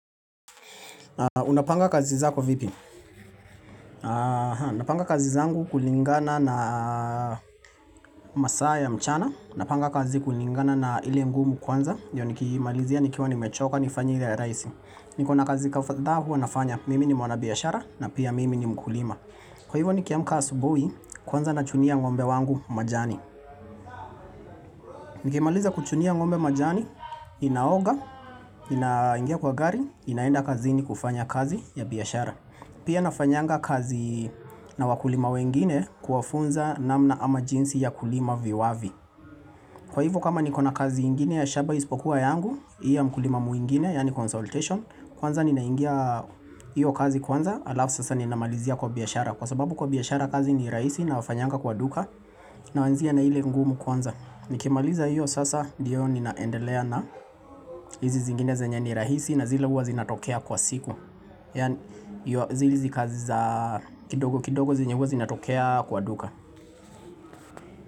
Unapanga kazi zako vipi? Napanga kazi zangu kulingana na masaa ya mchana napanga kazi kulingana na ile ngumu kwanza ndio nikiimalizia nikiwa nimechoka nifanye ile ya rahisi. Niko na kazi kadhaa huwa nafanya, mimi ni mwana biashara na pia mimi ni mkulima. Kwa hivyo nikiamka asubuhi kwanza nachunia ng'ombe wangu majani Nikimaliza kuchunia ngombe majani, inaoga, inaingia kwa gari, inaenda kazini kufanya kazi ya biashara Pia nafanyanga kazi na wakulima wengine kuwafunza namna ama jinsi ya kulima viwavi. Kwa hivyo kama nikona kazi ingine ya shamba isipokuwa yangu, hii ya mkulima mwingine, yaani consultation, kwanza ninaingia hiyo kazi kwanza, alafu sasa ninamalizia kwa biashara. Kwa sababu kwa biashara kazi ni rahisi na wafanyanga kwa duka, naanzia na ile ngumu kwanza. Nikimaliza hiyo sasa ndiyo ninaendelea na hizi zingine zenye ni rahisi na zile huwa zinatokea kwa siku. Ya zile kazi za kidogo kidogo zenye huwa zinatokea kwa duka.